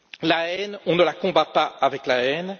La haine, on ne la combat pas avec la haine.